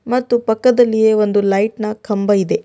ಮತ್ತು ಪಕ್ಕದಲ್ಲಿಯೆ ಒಂದು ಲೈಟ್ ನ ಕಂಬ ಇದೆ.